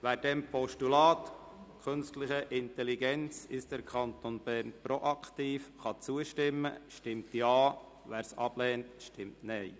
Wer dem Postulat «Künstliche Intelligenz: Ist der Kanton Bern proaktiv?» zustimmen kann, stimmt Ja, wer dieses ablehnt, stimmt Nein.